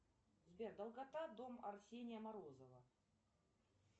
сбер долгота дом арсения морозова